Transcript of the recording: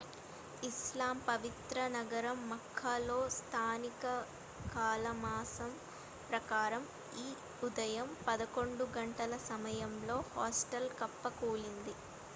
ఇస్లాం పవిత్ర నగరం మక్కాలో స్థానిక కాలమానం ప్రకారం ఈ ఉదయం 10 గంటల సమయంలో హాస్టల్ కుప్పకూలింది